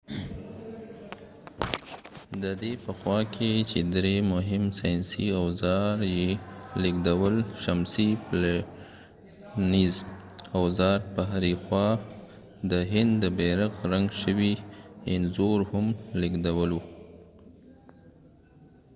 ددې په خوا کې چې درې مهم ساینسي اوزار یې لیږدول شمسی پلټنیز اوزار په هرې خوا د هند د بیرغ رنګ شوي انځور هم لیږدولو